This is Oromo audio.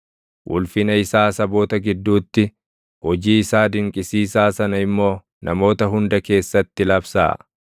Ulfina isaa saboota gidduutti, hojii isaa dinqisiisaa sana immoo namoota hunda keessatti labsaa.